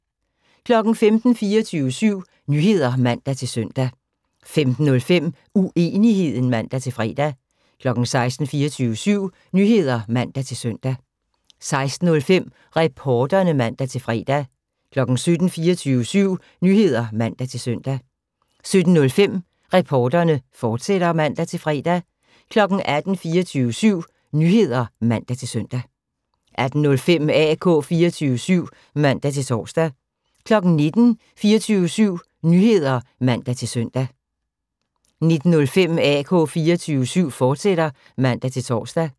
15:00: 24syv Nyheder (man-søn) 15:05: Uenigheden (man-fre) 16:00: 24syv Nyheder (man-søn) 16:05: Reporterne (man-fre) 17:00: 24syv Nyheder (man-søn) 17:05: Reporterne, fortsat (man-fre) 18:00: 24syv Nyheder (man-søn) 18:05: AK 24syv (man-tor) 19:00: 24syv Nyheder (man-søn) 19:05: AK 24syv, fortsat (man-tor)